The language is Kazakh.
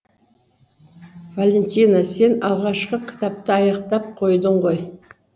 валентина сен алғашқы кітапты аяқтап қойдың ғой